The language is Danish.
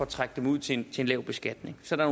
trække dem ud til en lav beskatning så der